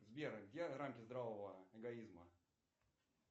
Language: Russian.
сбер где рамки здравого эгоизма